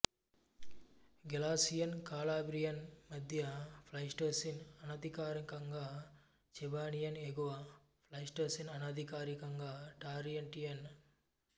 Galatian Calabrian మధ్య Pleistocene అనధికారికంగా Chibanian ఎగువ ప్లైస్టోసీన్ అనధికారికంగా టరాన్టియన్